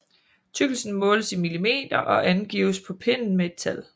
Tykkelsen måles i millimeter og angives på pinden med et tal